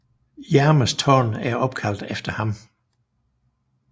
Jarmers Tårn er opkaldt efter ham